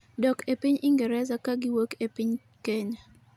dok e piny Ingreza kagiwuok e piny Kenya